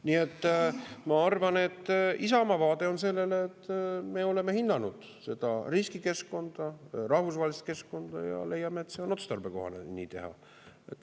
Nii et ma arvan, et Isamaa vaade on sellele, et me oleme hinnanud seda riskikeskkonda, rahvusvahelist keskkonda, ja leiame, et on otstarbekohane nii teha.